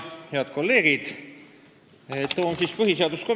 Head kolleegid!